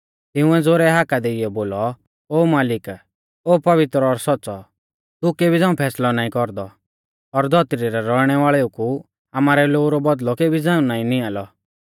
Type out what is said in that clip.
तिंउऐ ज़ोरै हाका देइयौ बोलौ ओ मालिक ओ पवित्र और सौच़्च़ौ तू केबी झ़ांऊ फैसलौ नाईं कौरदौ और धौतरी रै रौइणै वाल़ेऊ कु आमारै लोऊ रौ बौदल़ौ केबी झ़ांऊ नाईं निआंलौ